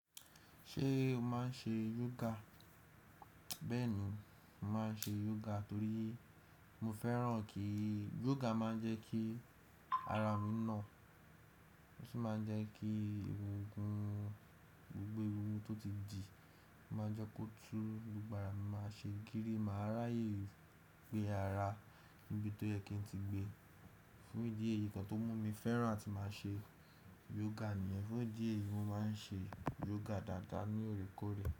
Ṣé o máa ń ṣe yoga? Bẹ́ẹ̀ni, mo máa ń ṣe yoga torí mo fẹ́ràn kí Yoga máa ń jẹ́ kí ara mi nà. Ó sì máa ń jẹ́ kí egungun, gbogbo egungun tó ti dì, ó máa jẹ́ kó tú. Gbogbo ara mi máa ṣe gírí. Màá ráyè gbé ara níbi tó yẹ kí n ti gbé. Fún ìdí èyí kan tó mú mi fẹ́ràn tí màá ṣe yoga nìyen. Fún ìdí èyí, mo máa ń ṣe yoga dáadáa ní oòrèkórè.